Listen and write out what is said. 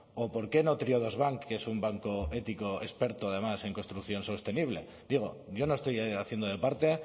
o por qué no triodos bank que es un banco ético experto además en construcción sostenible digo yo no estoy haciendo de parte